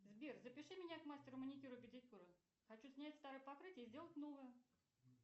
сбер запиши меня к мастеру маникюра педикюра хочу снять старое покрытие и сделать новое